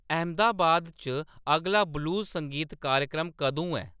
अहमदाबाद च अगला ब्लूज़ संगीत कार्यक्रम कदूं ऐ